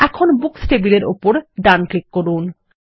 এখন বুকস টেবিলের উপর ডান ক্লিক করুন